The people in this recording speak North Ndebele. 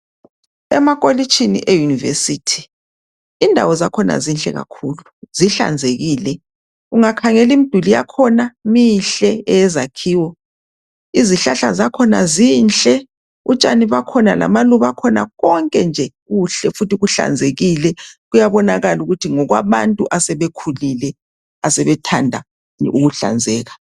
Emakolitshini eyunivesithi indawo zakhona zinhle kakhulu zihlanzekile ungakhangela umduli yakhona mihke eyezakhiwo izihlahla zakhona zinhle utshani bakhona lamaluba akhona konke nje kuhle futhi kuhlanzekile kuyabonakala ukuthi ngokwabantu asebekhulile abathanda ukuhlanzeka